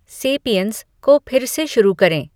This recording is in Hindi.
सेपियन्स को फिर से शुरू करें